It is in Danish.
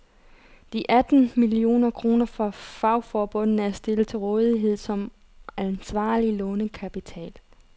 De atten millioner kroner fra fagforbundene er stillet til rådighed som ansvarlig lånekapital.